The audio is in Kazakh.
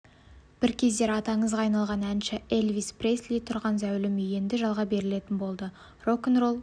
бір кездері аты аңызға айналған әнші элвис пресли тұрған зәулім үй енді жалға берілетін болады рок-н-ролл